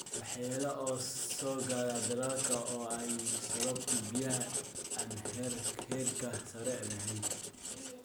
Waxyeello soo gaadha dalagga oo ay sababto biyaha aan heerka sare lahayn.